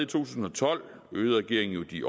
tusind og tolv øgede regeringen jo de